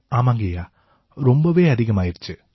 ஆமாங்கய்யா ரொம்பவே அதிகமாயிருச்சு